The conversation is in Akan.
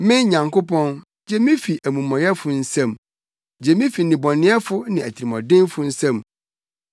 Me Nyankopɔn, gye me fi amumɔyɛfo nsam, gye me fi nnebɔneyɛfo ne atirimɔdenfo nsam.